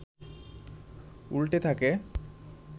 উল্টে থাকে